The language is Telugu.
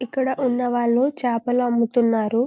ఇక్కడ ఉన్న వాళ్ళు చేపలు అమ్ముతున్నారు